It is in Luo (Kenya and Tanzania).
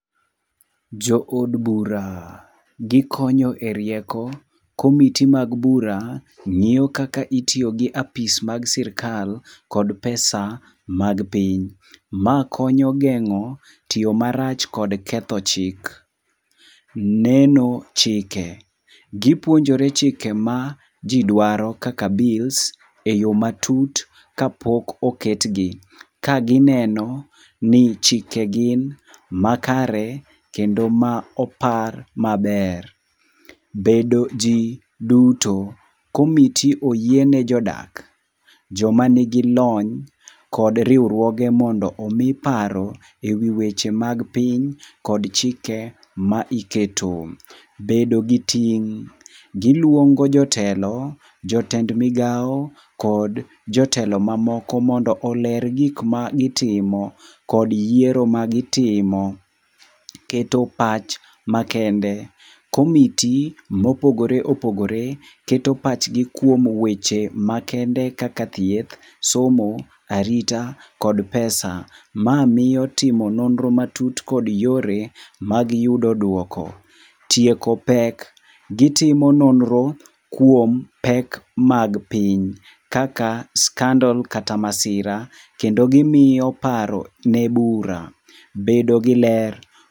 Jood bura, gikonyo e rieko, committee mag bura ng'íyo kaka itiyo gi apis mag sirkal kod pesa mag piny. Ma konyo gengó tiyo marach kod ketho chik. Neno chike. Gipuonjore chike ma ji dwaro kaka bills e yo matut ka pok oketgi. Ka gineno ni chike gin makare kendo ma opar maber. Bedo ji duto. Committee oyie ne jodak, joma nigi lony kod riwruoge mondo omi paro e wi weche mag piny, kod chike ma iketo. Bedo gi ting'. Giluongo jotelo, jotend migao kod jotelo mamoko mondo oler gik ma gitimo, kod yiero ma gitimo. Keto pach makende. Committee mopogore opogore keto pachgi kuom weche makende kaka thieth, somo, arita kod pesa. Ma miyo timo nonro matut kod yore mag yudo duoko. Tieko pek. Gitimo nonro kuom pek mag piny, kaka scandal kata masira, kendo gimiyo paro ne bura. Bedo gi ler.